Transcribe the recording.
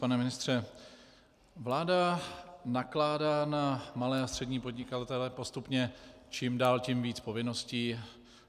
Pane ministře, vláda nakládá na malé a střední podnikatele postupně čím dál tím víc povinností.